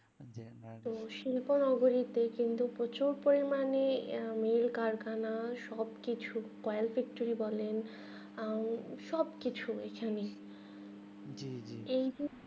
তো শিল্প নগরীতে কিন্তু প্রচুর পরিমান নীল কারখানা সব কিছু কয়েন factory বলে আহ সবকিছুই এখানেই কিন্তু